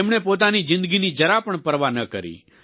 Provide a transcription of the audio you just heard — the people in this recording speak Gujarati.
તેમણે પોતાની જિંદગીની જરા પણ પરવા ન કરી